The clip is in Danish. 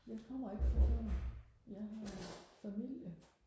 jeg kommer ikke fra Tønder jeg har familie